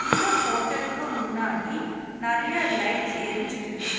இந்த ஹோட்டலுக்கு முன்னாடி நெறைய லைட்ஸ் எரிஞ்சிட்டு இரு--